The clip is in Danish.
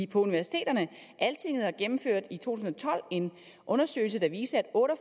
på universiteterne altinget har gennemført en undersøgelse der viste at otte og